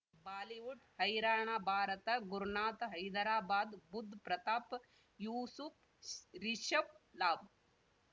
Bollywood ಹೈರಾಣ ಭಾರತ ಗುರುನಾಥ ಹೈದರಾಬಾದ್ ಬುಧ್ ಪ್ರತಾಪ್ ಯೂಸುಫ್ ರಿಷಬ್ ಲಾಭ